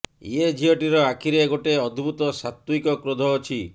ଏ ଝିଅଟିର ଆଖିରେ ଗୋଟେ ଅଦ୍ଭୁତ ସାତ୍ତ୍ବିକ କ୍ରୋଧ ଅଛି